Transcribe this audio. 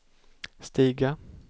stiga